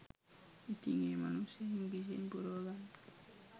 ඉතිං ඒ මනුස්සය ඉංග්‍රීසියෙන් පුරවගන්න